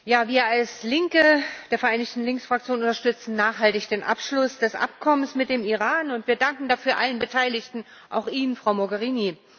Herr Präsident! Wir als Linke der vereinigten Linksfraktion unterstützen nachhaltig den Abschluss des Abkommens mit dem Iran, und wir danken dafür allen Beteiligten, auch Ihnen, Frau Mogherini.